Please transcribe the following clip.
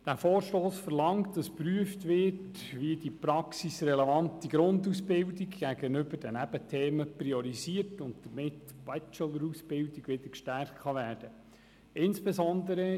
Dieser Vorstoss verlangt, dass geprüft wird, wie die praxisrelevante Grundausbildung gegenüber den Nebenthemen priorisiert und damit die Bachelor-Ausbildung gestärkt werden kann.